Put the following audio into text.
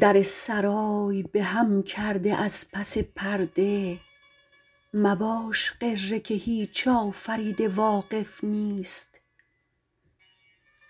در سرای به هم کرده از پس پرده مباش غره که هیچ آفریده واقف نیست